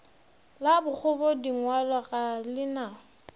la bokgobadingwalo ga le na